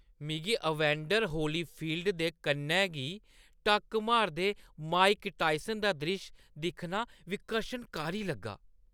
मिगी Evander Holyfield दे कन्नै गी टक्क मारदे माइक टायसन दा द्रिश्श दिक्खना विकर्शनकारी लग्गा।